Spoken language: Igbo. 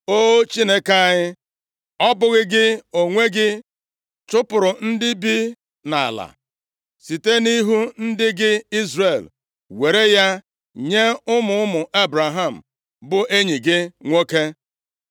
O Chineke anyị, ọ bụghị gị onwe gị chụpụrụ ndị bi nʼala, site nʼihu ndị gị Izrel, were ya nye ụmụ ụmụ Ebraham, bụ enyi gị nwoke?